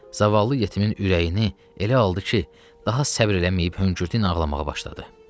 Zavallı yetimin ürəyini elə aldı ki, daha səbr eləməyib hönkürtü ilə ağlamağa başladı.